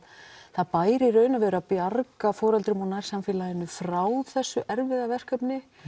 það bæri í raun og veru að bjarga foreldrum úr nærsamfélaginu frá þessu erfiða verkefni